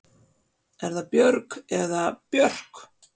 Er það Björg eða Björk?